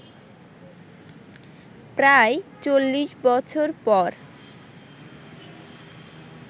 প্রায় ৪০ বছর পর